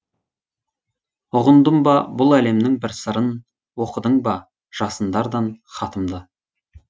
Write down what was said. ұғындым ба бұл әлемнің бір сырын оқыдың ба жасындардан хатымды